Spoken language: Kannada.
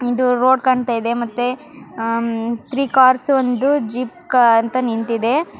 ಇದು ರೋಡ್ ಕಾಣ್ತಾ ಇದೆ ಮತ್ತೆ ಆಹ್ಹ್ ಥ್ರೀ ಕಾರ್ಸ್ ಒಂದು ಜೀಪ್ ಅಂತ ನಿಂತಿದೆ .